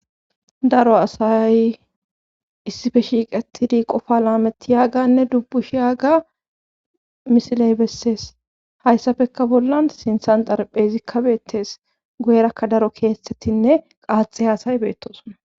daro asay issife shiiqetidi qofa laameti yaaganne dubbushi yaaga misiley bessees hayssafekka bollan sinthan darphezi kabeettes guyerakka daro keeththettinne qaaxe haasay beettosona